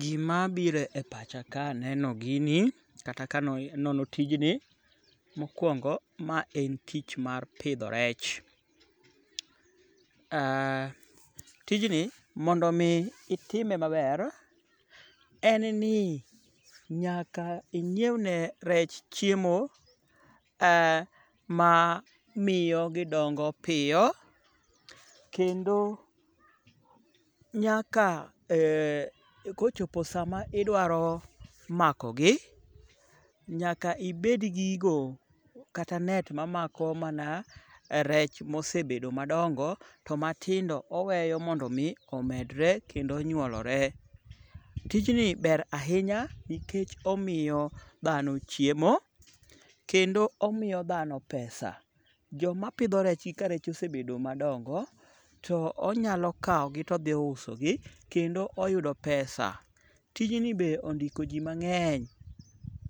Gimabiro e pacha ka aneno gini kata kanono tijni mokwongo ma en tich mar pidho rech. Tijni mondo omi itime maber, en ni nyaka inyiewne rech chiemo mamiyo gidongo piyo, kendo nyaka kochopo sama idwaro makogi nyaka ibedgi gigo kata net mamako mana rech mosebedo madongo to matindo oweyo mondo omi omedore kendo onyuolore. Tijni ber ahinya nikech omiyo dhano chiemo kendo omiyo dhano pesa. Jomapidho rechgi ka rech osebedo madongo to onyalo kawogi todhiusogi kendo oyudo pesa. Tijni be ondiko ji mang'eny